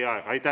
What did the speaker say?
Aitäh teile!